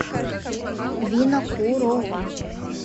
винокурова